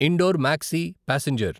indoor maxi passenger